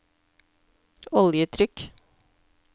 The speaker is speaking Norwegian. oljetrykk